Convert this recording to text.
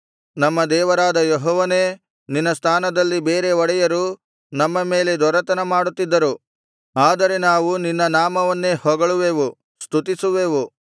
ನಮ್ಮ ದೇವರಾದ ಯೆಹೋವನೇ ನಿನ್ನ ಸ್ಥಾನದಲ್ಲಿ ಬೇರೆ ಒಡೆಯರು ನಮ್ಮ ಮೇಲೆ ದೊರೆತನ ಮಾಡುತ್ತಿದ್ದರು ಆದರೆ ನಾವು ನಿನ್ನ ನಾಮವನ್ನೇ ಹೊಗಳುವೆವು ಸ್ತುತಿಸುವೆವು